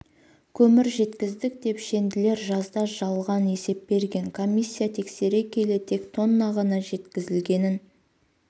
көмір жеткіздік деп шенділер жазда жалған есеп берген комиссия тексере келе тек тонна ғана жеткізілгенін